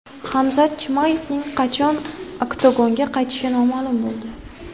Hamzat Chimayevning qachon oktagonga qaytishi ma’lum bo‘ldi.